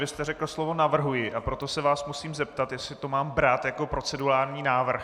Vy jste řekl slovo navrhuji, a proto se vás musím zeptat, jestli to mám brát jako procedurální návrh.